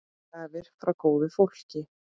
Gjafir frá góðu fólki.